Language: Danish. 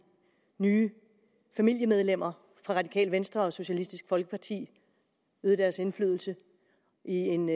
nye familiemedlemmer fra radikale venstre og socialistisk folkeparti øvet deres indflydelse i en